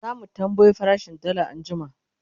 zamu tambayo farashin dalla anjima